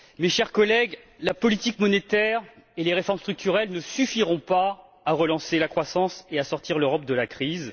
Chers collègues, la politique monétaire et les réformes structurelles ne suffiront pas à relancer la croissance et à sortir l'Europe de la crise.